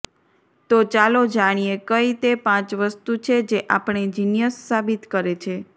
તો ચાલો જાણીએ કંઈ તે પાંચ વસ્તુ છે જે આપણે જીનિયસ સાબિત કરે છે